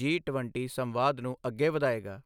ਜੀ ਟਵੰਟੀ ਸੰਵਾਦ ਨੂੰ ਅੱਗੇ ਵਧਾਏਗਾ।